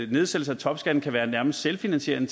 nedsættelser af topskatten kan være nærmest selvfinansierende